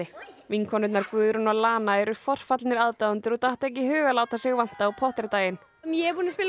vinkonurnar Guðrún og lana eru forfallnir aðdáendur og datt ekki í hug að láta sig vanta á Potter daginn ég er búin að spila